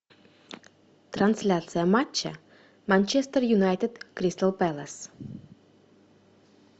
трансляция матча манчестер юнайтед кристал пэлас